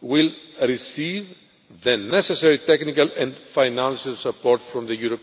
will receive the necessary technical and financial support from the